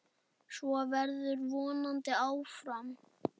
Svo verður vonandi áfram.